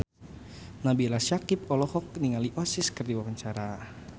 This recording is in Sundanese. Nabila Syakieb olohok ningali Oasis keur diwawancara